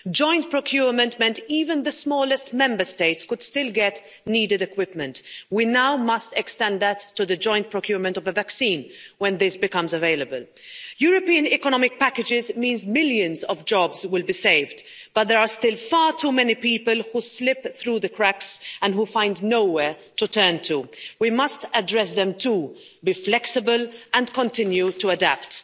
Joint procurement meant even the smallest Member States could still get needed equipment. We must now extend that to the joint procurement of the vaccine, when this becomes available. European economic packages mean millions of jobs will be saved, but there are still far too many people who slip through the cracks and who find nowhere to turn. We must address them too, be flexible and continue to adapt.